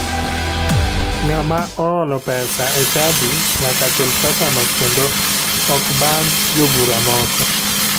Ng'ama oholo pesa e chadi nyaka chul pesano kendo ok bandh jobura moko.